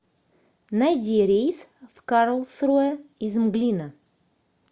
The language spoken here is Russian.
найди рейс в карлсруэ из мглина